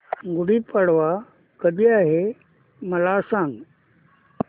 गुढी पाडवा कधी आहे मला सांग